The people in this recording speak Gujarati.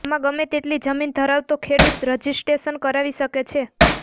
આમાં ગમે તેટલી જમીન ધરાવતો ખેડુત રજીસ્ટ્રેશન કરાવી શકે છે